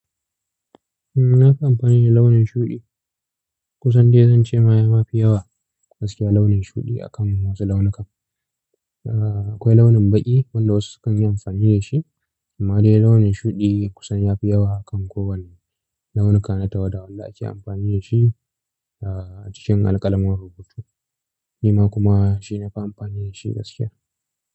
Na fi amfani da launin shuɗi. Kusan dai zan ce ma ya mafi yawa gaskiya launin shuɗi a kan wasu launukan. Akwai launin baƙi wanda wasu sukan yi amfani da shi, amma dai launin shuɗi kusan ya fi yawa a kan kowane launuka na tawada wanda ake amfani da shi a cikin alƙalamar rubutu. Ni ma kuma shi na fi amfani da shi gaskiya.